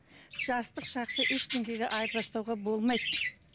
жастық шақты айырбастауға болмайды